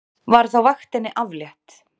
Var þá vaktinni aflétt.